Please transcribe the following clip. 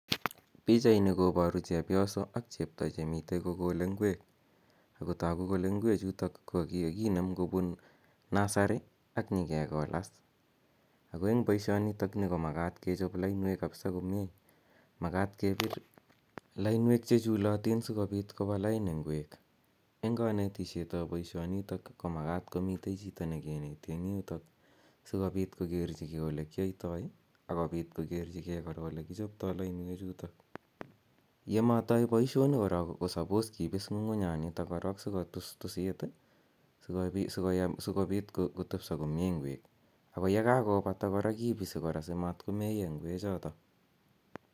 Pichaini kpoparu chepyoso ak chepto che mitei kokole ngwek. Ako tagu kole ngwechutok ko kikinem kopun nursery ak nyi kekolat. Ako eng' poishonitokni ko makat kechop lainwek kapsa komye. Lainwek che chulatin asikopit kopa lain ngwek. Eng' kanetishet ap poishonitok ko makat komi chito ne kineti eng' yutok asikopit kokerchigei ole kiyaitai ak ole kichoptai lainwechutok. Ye matai poishoni korok ko suppose kipis ng'ung'unyanitok korok si kotustusit asikopit kotepisa komye ngwek. Ye kakopata kora kipisi asimatko meya ngwechotok.